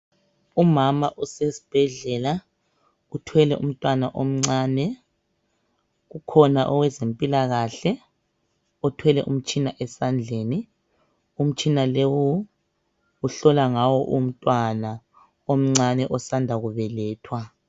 Umama usesibhedlela uthwele umntwana omncane, kukhona owezempilakahle othwele umtshina esandleni. Umtshina lowu uhlola ngawo umntwana omncane osanda kubelethwa.